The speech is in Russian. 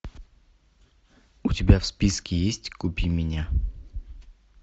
у тебя в списке есть купи меня